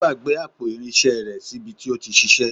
Ó gbàgbé àpò irinṣẹ́ rẹ̀ sí bi tí ó ti ṣiṣẹ́.